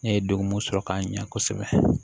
Ne ye degun mun sɔrɔ ka ɲa kosɛbɛ